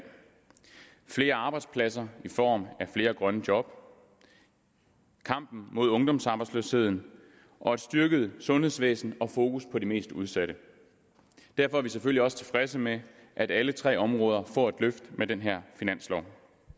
flere arbejdspladser i form af flere grønne job kampen mod ungdomsarbejdsløsheden og et styrket sundhedsvæsen og fokus på de mest udsatte derfor er vi selvfølgelig også tilfredse med at alle tre områder får et løft med den her finanslov